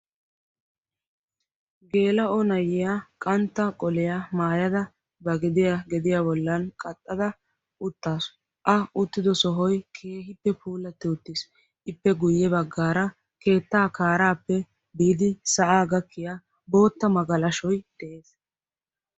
Gela''o nayiyaa qantta qolliya maayada ba geddiyaa qaxxada uttasu. a uttido sohoy keehippe puulatid uttis. ippe guyye baggara keetta kaara gakkiya bootta magalashshoy de'ees.